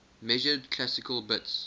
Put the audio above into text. measured classical bits